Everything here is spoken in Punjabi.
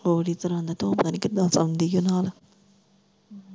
ਹੋਰ ਹੀ ਤਰਾਂ ਦਾ ਤੂੰ ਪਤਾ ਨੀ ਕਿਦਾ ਸੋਂਦੀ ਐ ਨਾਲ।